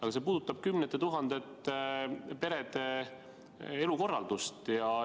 Aga see puudutab kümnete tuhandete perede elukorraldust.